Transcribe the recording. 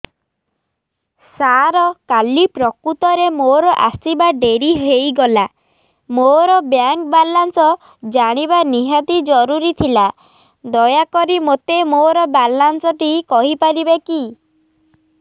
ସାର କାଲି ପ୍ରକୃତରେ ମୋର ଆସିବା ଡେରି ହେଇଗଲା ମୋର ବ୍ୟାଙ୍କ ବାଲାନ୍ସ ଜାଣିବା ନିହାତି ଜରୁରୀ ଥିଲା ଦୟାକରି ମୋତେ ମୋର ବାଲାନ୍ସ ଟି କହିପାରିବେକି